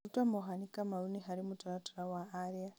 Ruta Mohanĩ Kamaũnĩ harĩ mũtaratara wa aria.